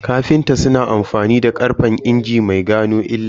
Kafinta suna amfani da karfen injin mai gano illa